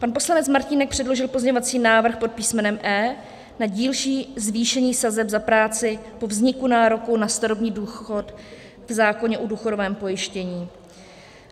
Pan poslanec Martínek předložil pozměňovací návrh pod písmenem E na dílčí zvýšení sazeb za práci po vzniku nároku na starobní důchod v zákoně o důchodovém pojištění.